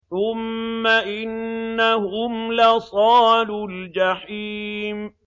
ثُمَّ إِنَّهُمْ لَصَالُو الْجَحِيمِ